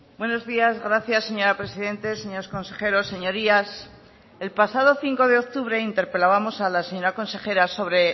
buenos días gracias señora presidenta señores consejeros señorías el pasado cinco de octubre interpelábamos a la señora consejera sobre